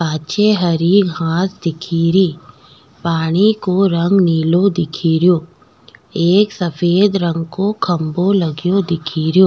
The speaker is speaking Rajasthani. पाछे हरी घास दिखेरी पानी को रंग नीलो दिखेरो एक सफ़ेद रंग को खम्भों लगो दिखेरो।